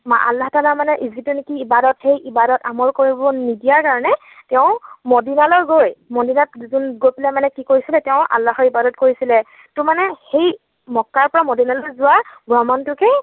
আল্লাহ তালাৰ যিটো নেকি ইবাদত অমল কৰিব নিদিয়া কাৰণে তেওঁ মদিনালৈ গৈ মদিনাত গৈ পেলাই মানে কি কৰিছিলে, তেওঁ আল্লাহক ইবাদত কৰিছিলে, ত মানে সেই মক্কাৰ পৰা মদিনালৈ যোৱা ভ্ৰমণটোকে